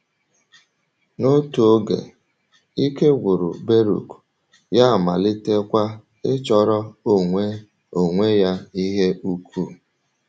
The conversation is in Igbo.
N’otu oge, ike gwụrụ Bérùk, ya amalitekwa ịchọrọ onwe onwe ya ihe ùkù.